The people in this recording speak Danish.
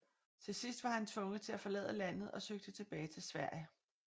Til sidst var han tvunget til at forlade landet og søgte tilbage til Sverige